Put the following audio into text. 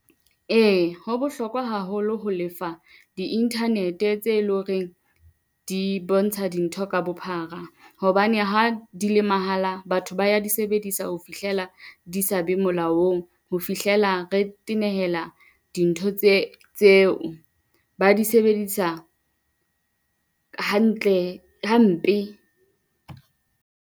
Ee, ho bohlokwa haholo ho lefa di internet-e tse loreng di bontsha dintho ka bophara hobane ha di le mahala. Batho ba ya di sebedisa ho fihlela di sa be molaong, ho fihlela re tenehela dintho tse tse ba di sebedisa hantle hampe.